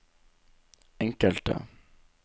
enkelte